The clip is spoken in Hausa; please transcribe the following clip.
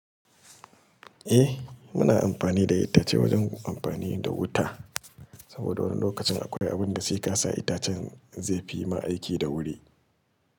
Eh muna amfani da ita ce wajen amfani da wuta. Saboda wani lokacin akwai abin da zai kasa itacen zai fi ma aiki da wuri.